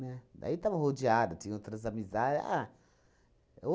Né? Daí estava rodeada, tinha outras amiza ah, é